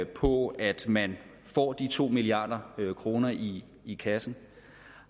på at man får de to milliard kroner i i kassen